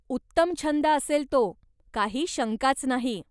उत्तम छंद असेल तो, काही शंकाच नाही.